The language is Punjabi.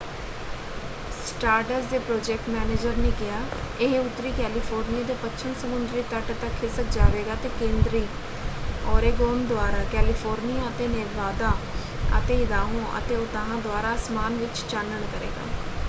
ਸਟਾਰਡਸ ਦੇ ਪ੍ਰੋਜੈਕਟ ਮੈਨੇਜਰ ਨੇ ਕਿਹਾ ਇਹ ਉੱਤਰੀ ਕੈਲੀਫੋਰਨੀਆ ਦੇ ਪੱਛਮ ਸਮੁੰਦਰੀ ਤਟ ਤੱਕ ਖਿਸਕ ਜਾਵੇਗਾ ਅਤੇ ਕੇਂਦਰੀ ਓਰੇਗੋਨ ਦੁਆਰਾ ਕੈਲੀਫੋਰਨੀਆ ਅਤੇ ਨੇਵਾਦਾ ਅਤੇ ਇਦਾਹੋ ਅਤੇ ਉਤਾਹ ਦੁਆਰਾ ਆਸਮਾਨ ਵਿੱਚ ਚਾਨਣ ਕਰੇਗਾ।